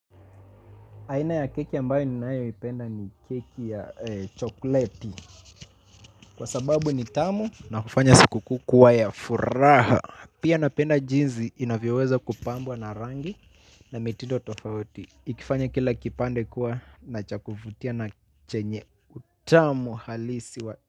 Aina ya keki ambayo ninayo ipenda ni keki ya chokoleti. Kwa sababu ni tamu na kufanya sikukuu kuwa ya furaha. Pia napenda jinsi inavyoweza kupambwa na rangi na mitindo tofauti ikifanya kila kipande kuwa na cha kuvutia na chenye utamu halisi wa.